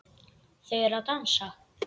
Þau eru að dansa